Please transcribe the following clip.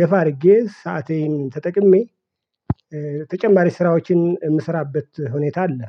ገፋ አድርጌ ሰአቴን ተጠቅሜ ተጨማሪ ስራዎችን የምሰራበት ሁኔታ አለ።